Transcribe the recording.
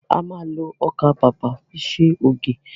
A ma lo ọkà bàbà fi ṣe ògì